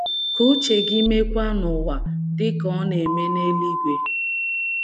Ka uche gị meekwa n’ụwa, dị ka ọ na - eme n’eluigwe.